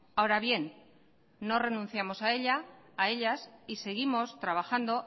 ahora bien no renunciamos a ellas y seguimos trabajando